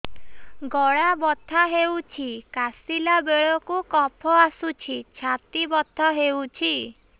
ଗଳା ବଥା ହେଊଛି କାଶିଲା ବେଳକୁ କଫ ଆସୁଛି ଛାତି ବଥା ହେଉଛି